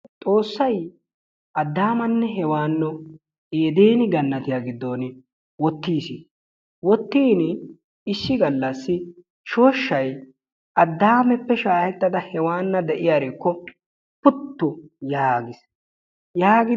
Xoossay Adaamanne Heewano eedene ganatiyaa giddon wottiis. Wootiini issi gallaasi shooshshay Adameppe shaahettada Heewana de'iyaarikko puttu yaagis. yaagidi...